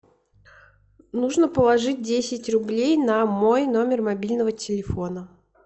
нужно положить десять рублей на мой номер мобильного телефона